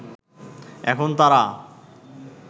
এখন তারা